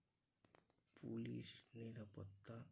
police নিরাপত্তা